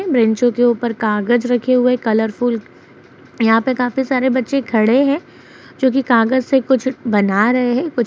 बेंचों के ऊपर कागज रखे हुए हैं। कलरफुल । यहाँं पे काफी सारे बच्चे खड़े हैं जो कि कागज से कुछ बना रहे है। कुछ --